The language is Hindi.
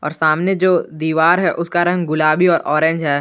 और सामने जो दीवार है उसका रंग गुलाबी और ऑरेंज है।